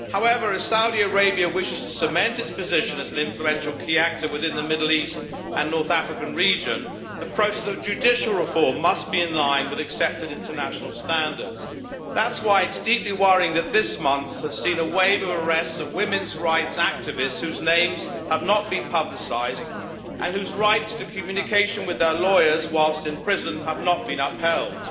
However, if Saudi Arabia wishes to cement its position as an influential key actor in the Middle East and North Africa region, the process of judicial reform must be in line with accepted international standards. That's why it is deeply worrying that this month has seen a wave of arrests of women's rights activists whose names have not been publicised and whose rights to communication with their lawyers whilst in prison have not been upheld.